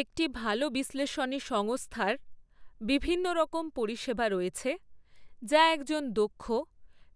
একটি ভালো বিশ্লেষণী সংস্থার বিভিন্নরকম পরিষেবা রয়েছে, যা একজন দক্ষ,